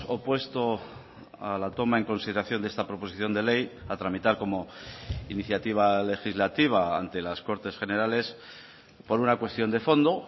opuesto a la toma en consideración de esta proposición de ley a tramitar como iniciativa legislativa ante las cortes generales por una cuestión de fondo